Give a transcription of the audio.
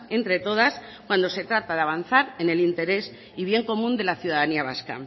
entre todas cuando se trata de avanzar en el interés y bien común de la ciudadanía vasca